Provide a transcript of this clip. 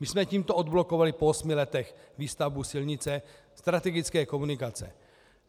My jsme tímto odblokovali po osmi letech výstavbu silnice, strategické komunikace.